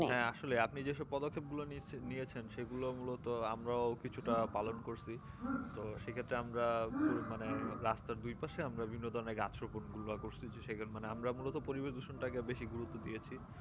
আসলে আপনি যেসব পদক্ষেপ গুলো নিয়েছেন সেগুলো মূলত আমরাও কিছুটা পালন করছি তো সেক্ষেত্রে আমরা পুরো মানে রাস্তার দু পাশে আমরা বিভিন্ন ধরণের গাছ রোপন গুলা করছি সেখানে মানে আমরা মূলত পরিবেশদূষণ টাকে বেশি গুরুত্ব দিয়েছি